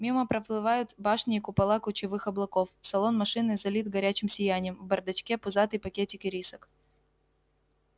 мимо проплывают башни и купола кучевых облаков салон машины залит горячим сиянием в бардачке пузатый пакетик ирисок